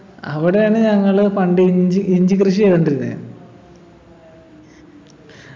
അവിടെയാണ് ഞങ്ങള് പണ്ട് ഇഞ്ചി ഇഞ്ചികൃഷി ചെയ്തോണ്ടിരുന്നെ